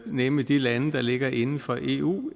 nemlig de lande der ligger inden for eu